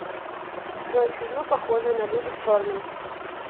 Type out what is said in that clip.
джой фильмы похожие на люди в черном